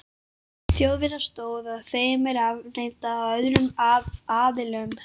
Þjóðverja stóð ef þeim er afneitað af öðrum aðilanum?